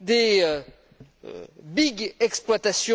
de grosses exploitations.